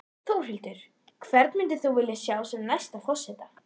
Þórhildur: Hvern myndir þú vilja sjá sem næsta forseta?